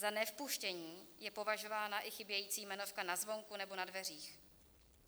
Za nevpuštění je považována i chybějící jmenovka na zvonku nebo na dveřích.